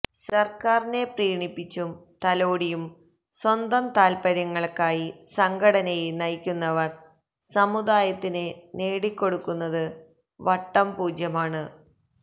സർക്കാരിനെ പ്രീണിപ്പിച്ചും തലോടിയും സ്വന്തം താല്പര്യങ്ങൾക്കായി സംഘടനയെ നയിക്കുന്നവർ സമുദായത്തിന് നേടിക്കൊടുത്തത് വട്ടം പൂജ്യമാണ്